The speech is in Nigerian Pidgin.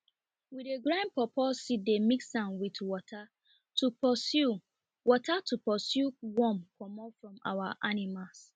we dey grind pawpaw seed dey mix am with water to pursue water to pursue worm comot from our animals